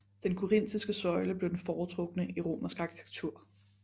Den korintiske søjle blev den foretrukne i romersk arkitektur